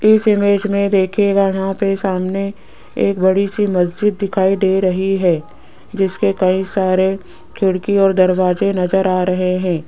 इस इमेज में देखिएगा यहां पे सामने एक बड़ी सी मस्जिद दिखाई दे रही है जिसके कई सारे खिड़की और दरवाजे नजर आ रहे हैं।